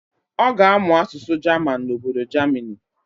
Ọ ga-amụ asụsụ jaman n'obodo jamini.